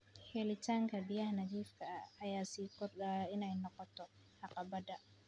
Helitaanka biyaha nadiifka ah ayaa sii kordhaya inay noqoto caqabadda.